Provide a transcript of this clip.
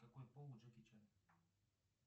какой пол у джеки чана